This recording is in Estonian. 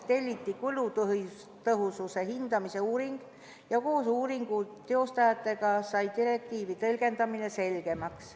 Telliti kulutõhususe hindamise uuring ja koos uuringu teostajatega sai direktiivi tõlgendamine selgemaks.